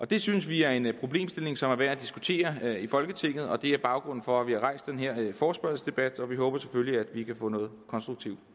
det synes vi er en problemstilling som er værd at diskutere i folketinget og det er baggrunden for at vi har rejst den her forespørgselsdebat vi håber selvfølgelig at vi kan få noget konstruktivt